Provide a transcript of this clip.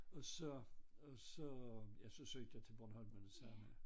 Og så og så ja så søgte jeg til Bornholm med det samme